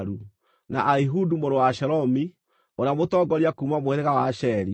na Ahihudu mũrũ wa Shelomi, ũrĩa mũtongoria kuuma mũhĩrĩga wa Asheri;